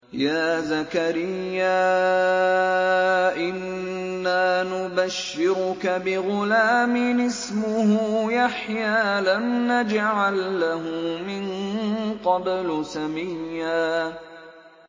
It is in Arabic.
يَا زَكَرِيَّا إِنَّا نُبَشِّرُكَ بِغُلَامٍ اسْمُهُ يَحْيَىٰ لَمْ نَجْعَل لَّهُ مِن قَبْلُ سَمِيًّا